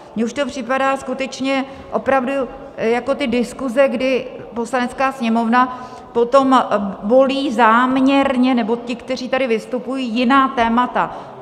Mně už to připadá skutečně opravdu jako ty diskuze, kdy Poslanecká sněmovna potom volí záměrně, nebo ti, kteří tady vystupují, jiná témata.